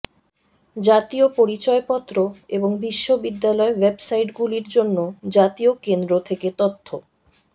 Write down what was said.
জাতীয় পরিচয়পত্র এবং বিশ্ববিদ্যালয় ওয়েব সাইটগুলির জন্য জাতীয় কেন্দ্র থেকে তথ্য